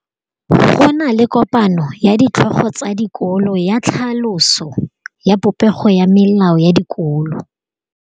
Go na le kopanô ya ditlhogo tsa dikolo ya tlhaloso ya popêgô ya melao ya dikolo.